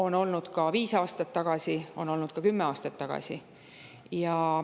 Nad olid olemas viis aastat tagasi ja olid olemas ka kümme aastat tagasi.